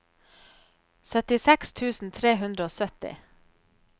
syttiseks tusen tre hundre og sytti